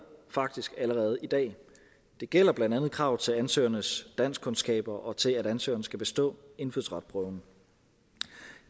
faktisk allerede i dag det gælder blandt andet kravet til ansøgernes danskkundskaber og til at ansøgeren skal bestå indfødsretsprøven